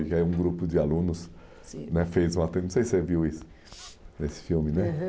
E aí um grupo de alunos, sim, né fez uma... Não sei se você viu isso, esse filme, né? Aham.